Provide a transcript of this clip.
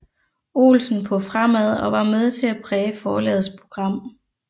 Olsen på Fremad og var med til at præge forlagets program